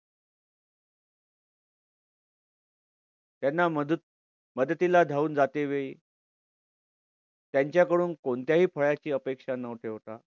त्यांना मदत मदतीला धावून जातेवेळी त्यांच्याकडून कोणत्याही फळाची अपेक्षा न ठेवता